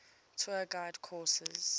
tour guide course